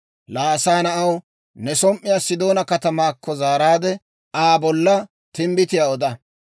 «Laa asaa na'aw, ne som"uwaa Sidoona katamaakko zaaraadde, Aa bolla timbbitiyaa oda.